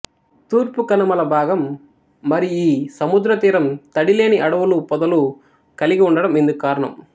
తూర్పు కనుమల భాగం మరియి సముద్రతీరం తడి లేని అడవులు పొదలు కలిగి ఉండడం ఇందుకు కారణం